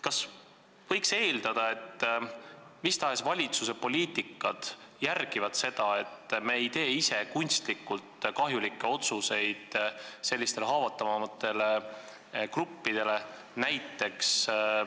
Kas võib eeldada, et mis tahes valitsuse poliitika järgib seda, et me ei tee ise kunstlikult sellistele haavatavamatele gruppidele kahjulikke otsuseid?